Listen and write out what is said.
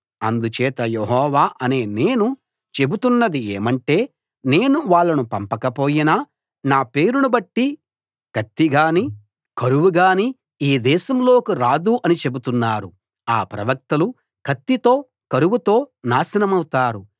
అందుచేత యెహోవా అనే నేను చెబుతున్నది ఏమంటే నేను వాళ్ళను పంపకపోయినా నా పేరును బట్టి కత్తిగానీ కరువుగానీ ఈ దేశంలోకి రాదు అని చెబుతున్నారు ఆ ప్రవక్తలు కత్తితో కరువుతో నాశనమవుతారు